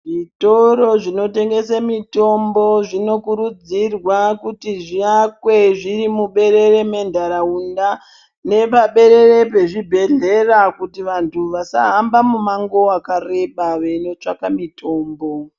Zvitoro zvinotengese mitombo zvinokurudzirwa kuti zviakwe zviri muberere mentaraunda, ,nepaberere pezvibhedhleya kuti vantu vasahamba mumango wakareba, veinotsvaka mitombo.